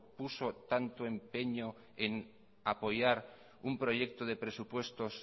puso tanto empeño en apoyar un proyecto de presupuestos